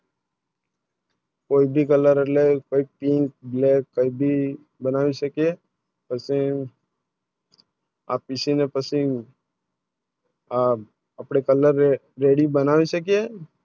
કોઈ ભી Colour એટલે Pink, Black બનાવી શકે પછી આ પિશવ ના પછી આ અપને Colour ready નાવી શકે